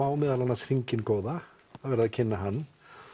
meðal annars á hringinn góða það er verið að kynna hann